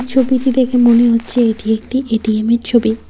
ছবিটি দেখে মনে হচ্ছে এটি একটি এটিএমের ছবি।